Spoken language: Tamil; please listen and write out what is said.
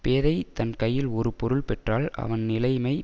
பேதை தன் கையில் ஒரு பொருள் பெற்றால் அவன் நிலைமை